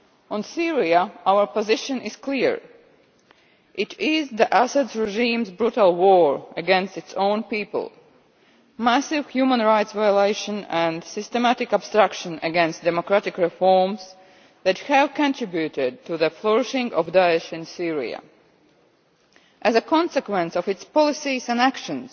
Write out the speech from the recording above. On Syria, our position is clear it is the Assad regime's brutal war against its own people, massive human rights violations and systematic obstruction against democratic reforms that have contributed to the flourishing of Daesh in Syria. As a consequence of its policies and actions,